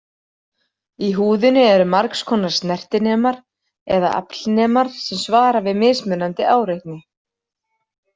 Í húðinni eru margs konar snertinemar eða aflnemar sem svara við mismunandi áreitni.